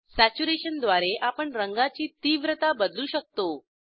saturation द्वारे आपण रंगाची तीव्रता बदलू शकतो